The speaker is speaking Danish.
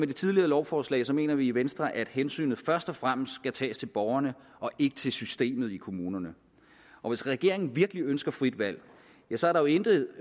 det tidligere lovforslag mener vi i venstre at hensynet først og fremmest skal tages til borgerne og ikke til systemet i kommunerne og hvis regeringen virkelig ønsker frit valg så er der intet